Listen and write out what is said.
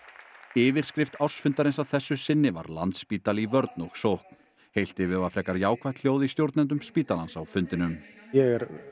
yfirskrift ársfundarins að þessu sinni var Landspítali í vörn og sókn heilt yfir var frekar jákvætt hljóð í stjórnendum spítalans á fundinum ég er